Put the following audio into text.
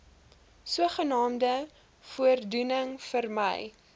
sogenaamde voordoening vermy